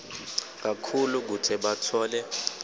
kakhulu kute batfole